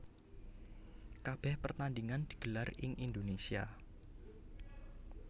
Kabèh pertandingan digelar ing Indonésia